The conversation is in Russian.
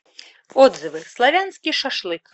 отзывы славянский шашлык